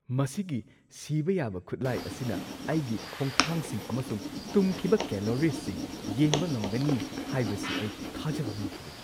ꯃꯁꯤꯒꯤ ꯁꯤꯕ ꯌꯥꯕ ꯈꯨꯠꯂꯥꯏ ꯑꯁꯤꯅ ꯑꯩꯒꯤ ꯈꯣꯡꯊꯥꯡꯁꯤꯡ ꯑꯃꯁꯨꯡ ꯇꯨꯝꯈꯤꯕ ꯀꯦꯂꯣꯔꯤꯁꯤꯡ ꯌꯦꯡꯕ ꯉꯝꯒꯅꯤ ꯍꯥꯏꯕꯁꯤ ꯑꯩ ꯊꯥꯖꯕ ꯉꯝꯈꯤꯗꯦ ꯫